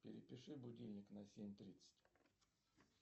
перепиши будильник на семь тридцать